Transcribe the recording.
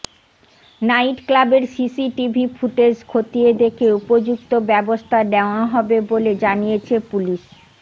নাইটক্লাবের CCTV footage খতিয়ে দেখে উপযুক্ত ব্যবস্থা নেওয়া হবে বলে জানিয়েছে পুলিশ